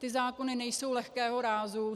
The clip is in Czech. Ty zákony nejsou lehkého rázu.